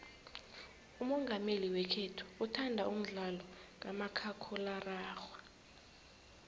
umongameli wekhethu uthanda umdlalo kamakhakhulararhwe